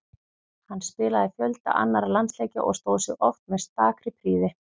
Hann spilaði fjölda annarra landsleikja og stóð sig oft með stakri prýði.